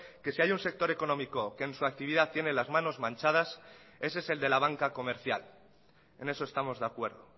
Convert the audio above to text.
que si hay un sector económico que en su actividad tiene las manos manchadas ese es el de la banca comercial en eso estamos de acuerdo